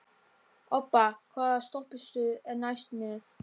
Obba, hvaða stoppistöð er næst mér?